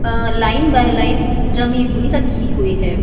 A line by line जमी हुई रखी हुई है।